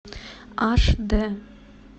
аш дэ